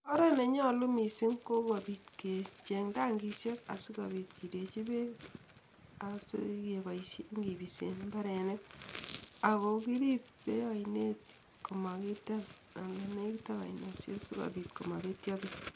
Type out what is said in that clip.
Oret nenyalu mising Ko kecheng tangishek asikobit kinde bek sikobisen minutik